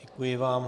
Děkuji vám.